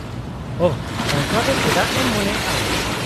-ᱳᱦᱚ , ᱚᱱᱠᱟ ᱫᱚ ᱪᱮᱫᱟᱜ ᱮᱢ ᱢᱚᱱᱮᱭᱟ ᱟᱢ ?